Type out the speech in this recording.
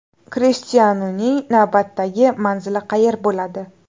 Krishtianuning navbatdagi manzili qayer bo‘ladi?.